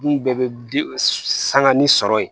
Dun bɛɛ bɛ sangani sɔrɔ yen